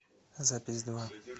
запись два